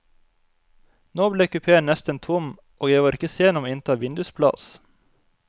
Nå ble kupeen nesten tom, og jeg var ikke sen om å innta vindusplass.